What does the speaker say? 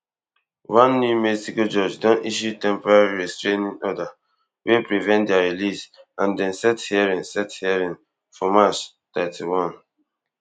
one new mexico judge don issue temporary restraining order wey prevent dia release and dem set hearing set hearing for march thirty-one